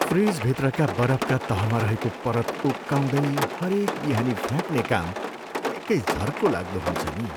फ्रिजभित्रका बरफका तहमा रहेको परत उक्काउँदै हरेक बिहानी फ्याक्ने काम निकै झर्कोलाग्दो हुन्छ नि।